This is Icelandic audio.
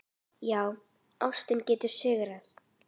Já, ástin getur sigrað!